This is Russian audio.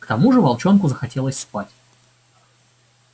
к тому же волчонку захотелось спать